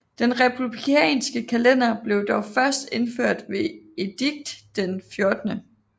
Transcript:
Den republikanske kalender blev dog først indført ved edikt den 14